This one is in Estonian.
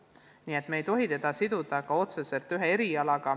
Nii et me ei tohi viipekeeleõpet siduda otseselt ühe erialaga.